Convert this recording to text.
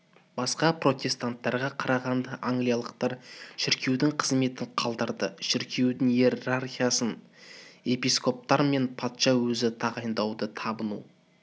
басқа протестанттарға қарағанда англикалықтар шіркеудің қызметін қалдырды шіркеудің иерархиясын епископтар мен патша өзі тағайындайды табыну